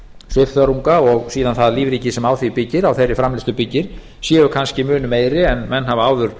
svifþörunga og síðan það lífríki sem á þeirri framleiðslu byggir séu kannski mun meiri en menn hafa áður